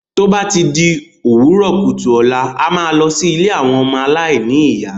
Tó bá ti di òwúrọ̀ kùtù ọ̀la,a máa lọ sí ilé àwọn ọmọ aláìní ìyá.